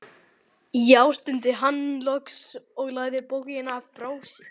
Já, stundi hann loks og lagði bókina frá sér.